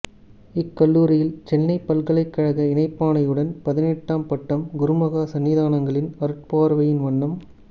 இக்கல்லூரியில் சென்னைப் பல்கலைக்கழக இணைப்பாணையுடன் பதினெட்டாம் பட்டம் குருமகா சந்நிதானங்களின் அருட்பார்வையின் வண்ணம்